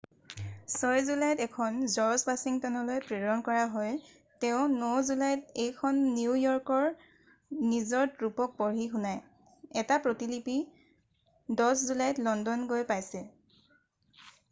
6 জুলাইত এখন জৰ্জ ৱাশ্বিংটনলৈ প্ৰেৰণ কৰা হয় তেওঁ 9 জুলাইত এইখন নিউ য়ৰ্কত নিজৰ ট্ৰুপক পঢ়ি শুনায় এটা প্ৰতিলিপি 10 জুলাইত লণ্ডন গৈ পাইছে